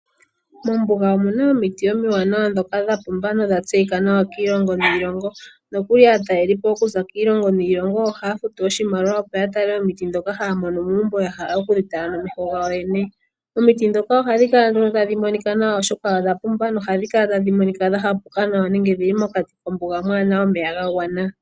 Mombuga omuna omiti omiwanawa dhapumba nodha tseyika nawa kiilongo niilongo nokuli aatalelipo okuza kiilongo niilongo ohaya futu oshimaliwa opo ya tale omiti ndhoka haya mono muumbo yahala oku dhi tala nomeho gawo yoyene. Omiti ndhoka ohadhi kala tadhi monikanawa oshoka odha pumba nohadhi kala tadhi monika dha hapuka nawa nenge odhii mokati kombuga mwana omeya ga gwana.